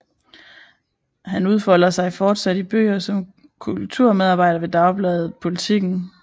Han udfolder sig fortsat i bøger og som kulturmedarbejder ved dagbladet Politiken